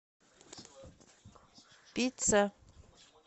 пицца